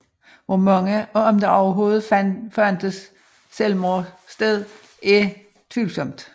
Hvor mange og om der overhovedet fandt selvmord sted er tvivlsomt